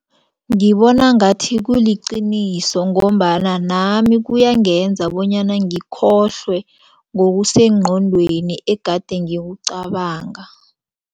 Ngibona ngathi kuliqiniso ngombana nami kuyangenza bonyana ngikhohlwe ngokusengqondweni egade ngikucabanga.